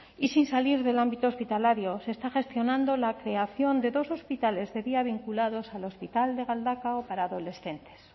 y sin salir del ámbito hospitalario se está gestionando la creación de dos hospitales de día vinculados al hospital de galdakao para adolescentes